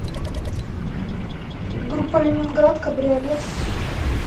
группа ленинград кабриолет